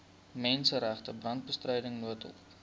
menseregte brandbestryding noodhulp